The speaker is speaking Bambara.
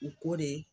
U ko de